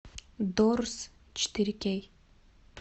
дорс четыре кей